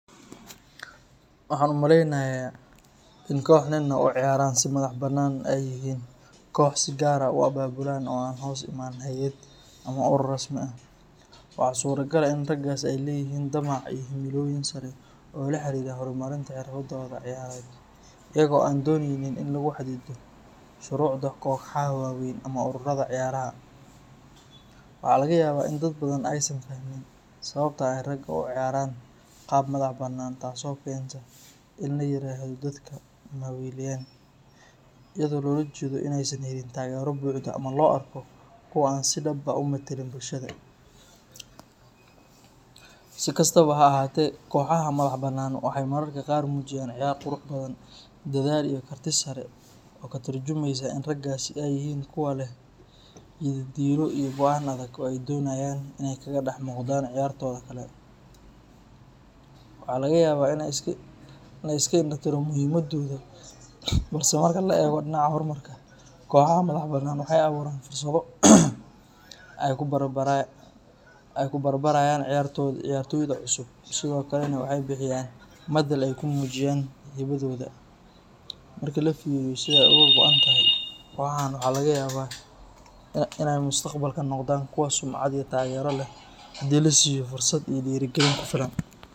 Waxaan u maleynayaa in koox nin ah oo u ciyaara si madax bannaan ay yihiin koox si gaar ah u abaabulan oo aan hoos iman hay’ad ama urur rasmi ah. Waxaa suuragal ah in raggaas ay leeyihiin damac iyo himilooyin sare oo la xiriira horumarinta xirfadooda ciyaareed iyaga oo aan dooneynin in lagu xadido shuruucda kooxaha waaweyn ama ururada ciyaaraha. Waxaa laga yaabaa in dad badan aysan fahmin sababta ay raggan ugu ciyaarayaan qaab madax bannaan taasoo keenta in la yiraahdo “dadka ma weyilaan,” iyadoo loola jeedo in aysan helin taageero buuxda ama loo arko kuwo aan si dhab ah u metelin bulshada. Si kastaba ha ahaatee, kooxaha madax bannaan waxay mararka qaar muujiyaan ciyaar qurux badan, dadaal, iyo karti sare oo ka tarjumeysa in raggaasi ay yihiin kuwo leh yididiilo iyo go’aan adag oo ay doonayaan inay kaga dhex muuqdaan ciyaartooyda kale. Waxaa laga yaabaa in la iska indha tiro muhiimaddooda balse marka la eego dhinaca horumarka, kooxaha madax bannaan waxay abuuraan fursado ay ku barbaarayaan ciyaartooyda cusub, sidoo kalena waxay bixiyaan madal ay ku muujiyaan hibadooda. Marka la fiiriyo sida ay uga go’an tahay, kooxahan waxaa laga yaabaa inay mustaqbalka noqdaan kuwo sumcad iyo taageero leh haddii la siiyo fursad iyo dhiirrigelin ku filan.